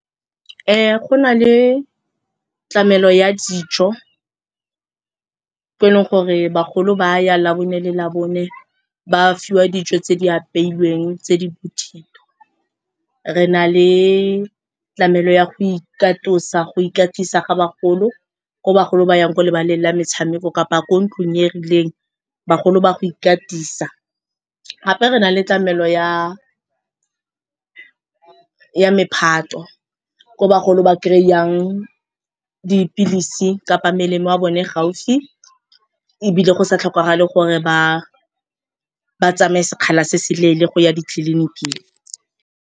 Go na le tlamelo ya dijo tse e leng gore bagolo ba ya labone le labone ba fiwa dijo tse di apeilweng tse di bothito. Re na le tlamelo ya go ikatisa ga bagolo ko bagolo ba yang ko lebaleng la metshameko kapa ko ntlong e rileng, bagolo ba go ikatisa. Gape re na le tlamelo ya mephato ko bagolo ba kry-ang dipilisi kapa melemo ya bone gaufi ebile go sa tlhokagala gore ba tsamaye sekgala se se leele go ya ditleliniking.